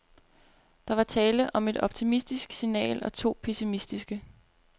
Der var tale om et optimistisk signal og to pessimistiske.